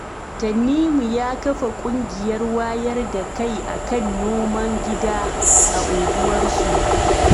Tanimu ya kafa ƙungiyar wayar da kai akan noman gida, a unguwarsu.